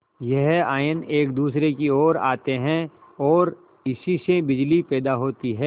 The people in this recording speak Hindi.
यह आयन एक दूसरे की ओर आते हैं ओर इसी से बिजली पैदा होती है